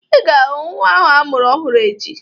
Ị ga-ahụ nnwa ahụ amụrụ ọhụrụ echi